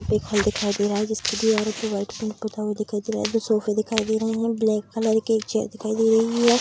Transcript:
एक हॉल दिखाई दे रहा है जिसकी दीवारों पे वाइट पेंट पोता हुआ दिखाई दे रहा है दो सोफे दिखाई दे रहे हैं ब्लैक कलर के एक चेयर दिखाई दे रही है।